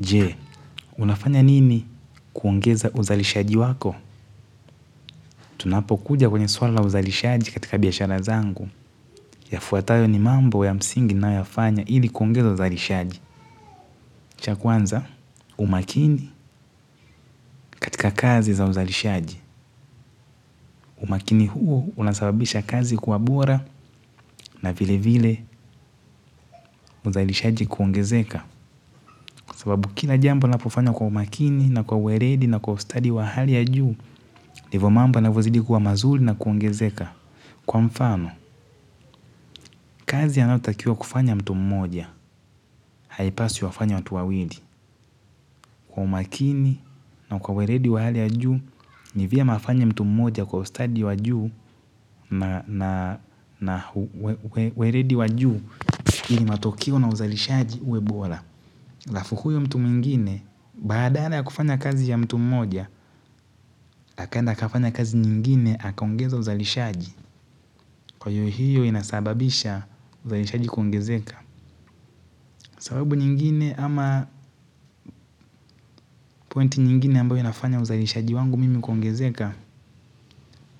Jee, unafanya nini kuongeza uzalishaji wako? Tunapo kuja kwenye swala la uzalishaji katika biashara zangu. Yafuatayo ni mambo ya msingi nayofanya ilikuongeza uzalishaji. Cha kuanza, umakini katika kazi za uzalishaji. Umakini huo unasababisha kazi kuwa bora na vile vile uzalishaji kuongezeka. Sababu kila jambo unapofanya kwa umakini na kwa uweredi na kwa ustadi wa hali ya juu, ndivo mambo yanavozidi kuwa mazuli na kuongezeka. Kwa mfano, kazi anayotakiwa kufanya mtu mmoja, haipaswi wafanye watu wawili. Kwa umakini na kwa weredi wa hali ya juu, nivyema afanye mtu mmoja kwa ustadi wa juu na weredi wa juu ili matokeo na uzalishaji uwebola. aLafu huyo mtu mwingine, baadala ya kufanya kazi ya mtu mmoja, akaenda akafanya kazi nyingine, akaongeza uzalishaji. Kwa hiyo hiyo inasababisha uzalishaji kuongezeka. Sababu nyingine ama pointi nyingine ambayo inafanya uzalishaji wangu mimi kuongezeka.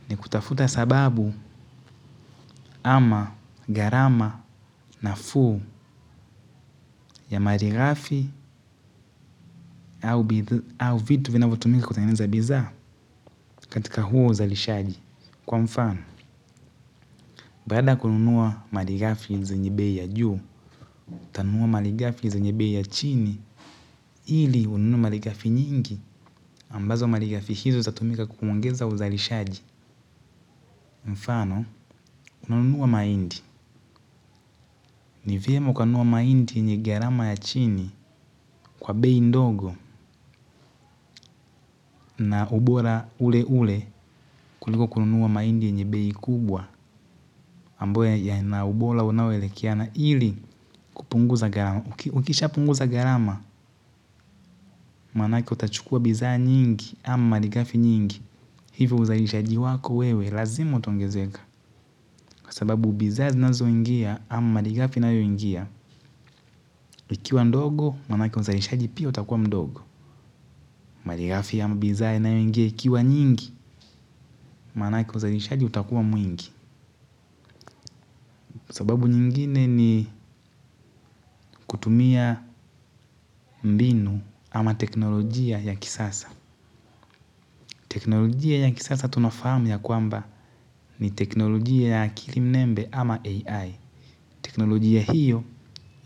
Ni kutafuta sababu ama gharama nafuu ya maligafi au vitu vinavyotumika kutengeza bidhaa. Katika huo uzalishaji. Kwa mfano, baada ya kununuwa maligafi zenye bei ya juu tanunua maligafi zenye bei ya chini. Ili ununu marigafi nyingi, ambazo marigafi hizo zatumika kuongeza uzalishaji. Mfano, unanua maindi. Ni vyema ukanuwa maindi yenye gharama ya chini kwa bei ndogo na ubora ule ule kuliko kununua maindi yenye bei kubwa. Ambo yana ubora unaoelekeana ili kupunguza garama. Ukisha punguza garama, manake utachukua bidhaa nyingi ama maligafi nyingi. Hivyo uzalishaji wako wewe lazima utaongezeka. Kwa sababu bidha zinazo ingia ama madigafi inayo ingia. Ikiwa ndogo manake uzalishaji pia utakuwa mdogo. Madigafi ama bidhaa inayo ingia ikiwa nyingi manake uzalishaji utakuwa mwingi. Kwa sababu nyingine ni kutumia mbinu ama teknolojia ya kisasa. Teknolojia ya kisasa tunafahamu ya kwamba ni teknolojia ya kilimnembe ama AI. Teknolojia hiyo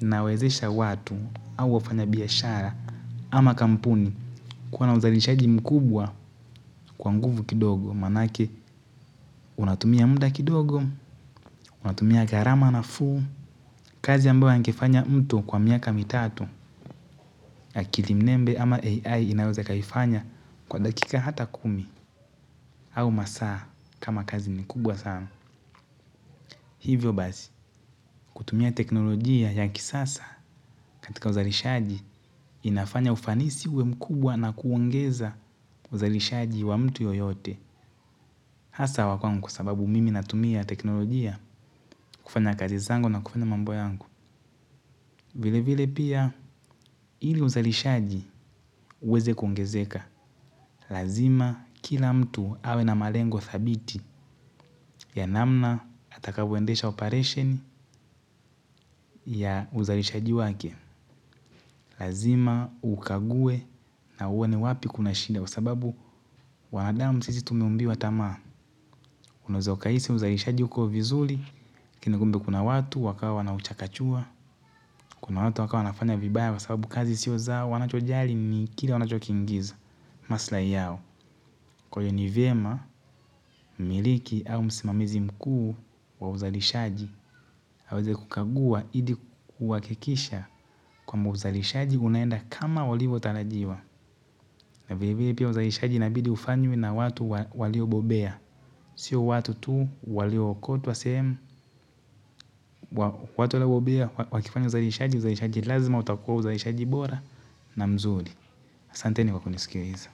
inawezesha watu au wafanya biashara ama kampuni kuwa na uzalishaji mkubwa kwa nguvu kidogo manake unatumia mda kidogo, unatumia garama nafuu. Kazi ambayo angefanya mtu kwa miaka mitatu ya kilimnembe ama AI inaweza akaiifanya kwa dakika hata kumi au masaa kama kazi ni kubwa sana. Hivyo bazi kutumia teknolojia ya kisasa katika uzalishaji inafanya ufanisi uwe mkubwa na kuongeza uzalishaji wa mtu yoyote. Hasa wakuan kusababu mimi natumia teknolojia kufanya kazi zangu na kufanya mambo yangu. Vile vile pia ili uzalishaji uweze kuongezeka. Lazima kila mtu awe na malengo thabiti ya namna atakavoendesha operation ya uzalishaji wake. Lazima ukague na uone wapi kuna shida. Kwa sababu wanadamu sisi tumiumbiwa tamaa unaeza ukaisi uzalishaji uko vizuli lakinikumbe kuna watu wakawa wanauchakachua. Kuna watu wakawa wanafanya vibaya. Kwa sababu kazi sio zao wanachojali nikila wanachokingiza. Maslai yao. Kwa iyo ni vema, miliki au msimamizi mkuu wa uzalishaji aweze kukagua ili kuhakikisha kwamba uzalishaji unaenda kama ulivyotarajiwa na vile vile pia uzalishaji inabidiufanywe na watu waliobobea. Sio watu tu walio okotwa sehemu. Watu walabobea wakifanyo uzalishaji, uzalishaji lazima utakua uzalishaji bora na mzuri asanteni kwa kunisikiliza.